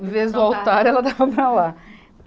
Em vez do altar, ela dava para lá.